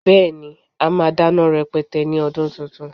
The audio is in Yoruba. Beẹ́, a máa dáná rẹpẹtẹ ní ọdún tuntun